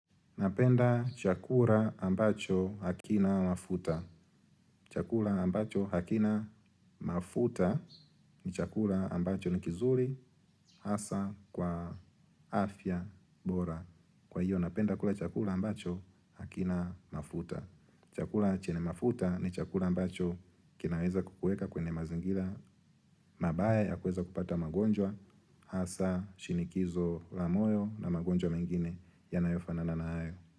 Napenda chakula ambacho hakina mafuta. Chakula ambacho hakina mafuta ni chakula ambacho ni kizuri hasa kwa afya bora. Kwa hiyo napenda kula chakula ambacho hakina mafuta. Chakula chenye mafuta ni chakula ambacho kinaweza kukueka kwenye mazingila mabaya ya kuweza kupata magonjwa hasa shinikizo la moyo na magonjwa mengine yanayofanana na hayo.